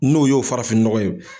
N'o y'o farafin nɔgɔ ye